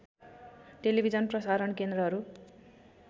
television प्रसारण केन्द्रहरू